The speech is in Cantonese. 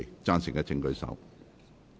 贊成的請舉手。